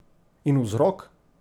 In vzrok?